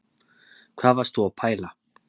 Hvað varst þú að pæla